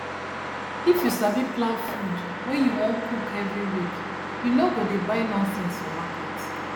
if you sabi plan food wey you wan cook every week you no go dey buy nonsense for market